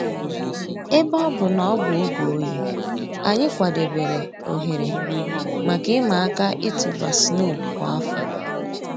Èbè ọ̀ bụ̀ nà ọ̀ bụ̀ ògè òyì, ànyị̀ kwàdèbèrè òhèrè mǎká ị̀mà àkà ị̀tụ̀bà snow kwa áfọ̀.